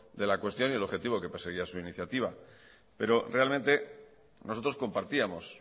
de la cuestión y el objetivo que perseguía su iniciativa pero realmente nosotros compartíamos